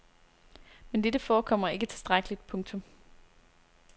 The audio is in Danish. Men dette forekommer ikke tilstrækkeligt. punktum